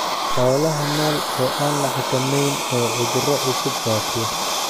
Xoolaha nool oo aan la xakamayn oo cudurro cusub faafiya.